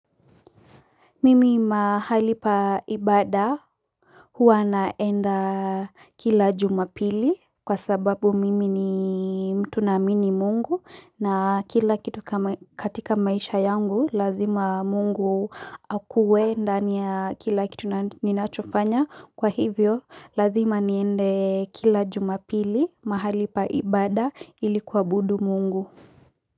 Mimi mahali pa ibada huwa naenda kila jumapili kwa sababu mimi ni mtu naamini mungu na kila kitu katika maisha yangu lazima mungu akuwe ndani ya kila kitu ninachofanya kwa hivyo lazima niende kila jumapili mahali pa ibada ilikuabudu mungu.